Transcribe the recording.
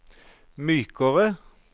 mykere